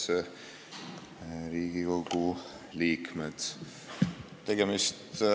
Head Riigikogu liikmed!